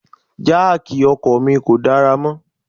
Jáákì ọkọ̀ mi kò dára mọ́.